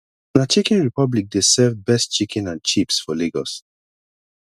na chicken republic dey serve best chicken and chips for lagos